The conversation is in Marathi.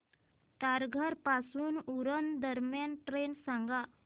तारघर पासून उरण दरम्यान ट्रेन सांगा